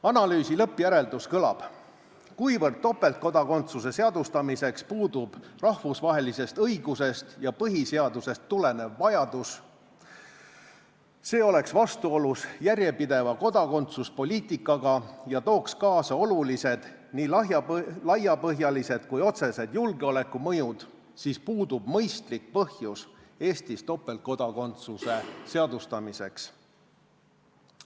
Analüüsi lõppjäreldus kõlab: "Kuna topeltkodakondsuse seadustamiseks puudub rahvusvahelisest õigusest ja põhiseadusest tulenev vajadus, see oleks vastuolus järjepideva kodakondsuspoliitikaga ja tooks kaasa olulised nii laiapõhjalised kui otsesed julgeolekumõjud, siis puudub mõistlik põhjus Eestis topeltkodakondsuse seadustamiseks.